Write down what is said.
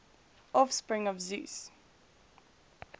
offspring of zeus